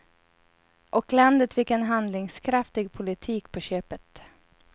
Och landet fick en handlingskraftig politik på köpet.